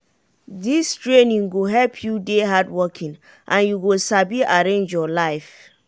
dis training go help you dey hardworking and you go sabi arrange your life.